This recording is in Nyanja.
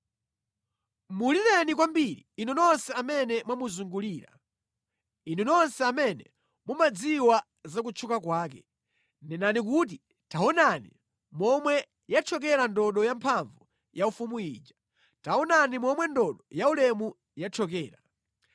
Mulireni kwambiri, inu nonse amene mwamuzungulira, inu nonse amene mumadziwa za kutchuka kwake; nenani kuti, “Taonani momwe yathyokera ndodo yamphamvu yaufumu ija, taonani momwe ndodo yaulemu yathyokera!”